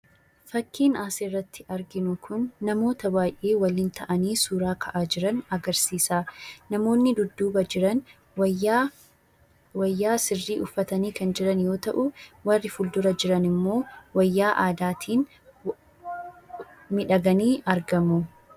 Fakkiin asirratti arginu kun namoota baay'ee waliin ta'anii suuraa ka'aa jiran agarsiisa. Namoonni dudduuba jiran wayyaa sirrii uffatanii kan jiran yommuu ta'u, warri fuuldura jiran immoo wayyaa aadaatiin miidhaganii argamu.